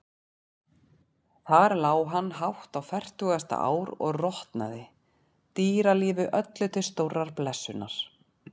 Þar lá hann hátt á fertugasta ár og rotnaði, dýralífi öllu til stórrar blessunar.